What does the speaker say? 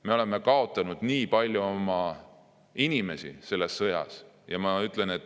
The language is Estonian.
Nad on kaotanud palju oma inimesi selles sõjas.